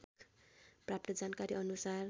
प्राप्त जानकारी अनुसार